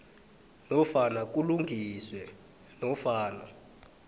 nofana kulungiswe nofana